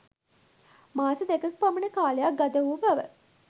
මාස දෙකක පමණ කාලයක් ගත වූ බව